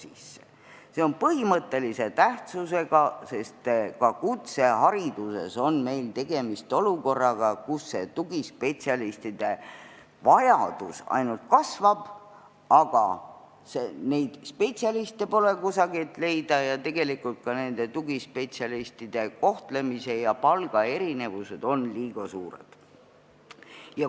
See on põhimõttelise tähtsusega, sest kutsehariduses on meil samuti olukord, kus tugispetsialistide vajadus ainult kasvab, aga spetsialiste pole kusagilt leida ja tegelikult on ka nende tugispetsialistide kohtlemise ja palga erinevused liiga suured.